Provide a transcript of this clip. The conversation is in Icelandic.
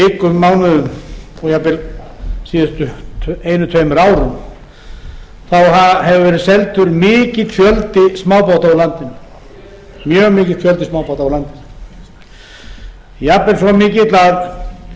vikum mánuðum og jafnvel síðustu einu til kemur árum hafi verið seldur mikill fjöldi smábáta úr landinu jafnvel svo mikill að þeir